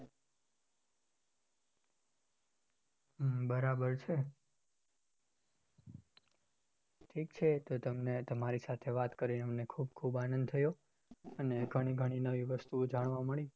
હમ બરાબર છે ઠીક છે તો તમને તમારી સાથે વાત કરીને અમને ખુબ ખુબ આનંદ થયો અને ઘણી ઘણી નવી વસ્તુઓ જાણવા મળી